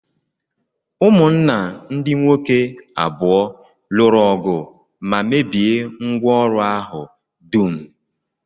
Ụmụnna ndị nwoke abụọ lụrụ ọgụ ma mebie ngwá ọrụ ahụ dum